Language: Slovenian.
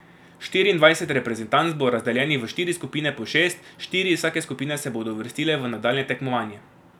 Štiriindvajset reprezentanc bo razdeljenih v štiri skupine po šest, štiri iz vsake skupine se bodo uvrstile v nadaljnje tekmovanje.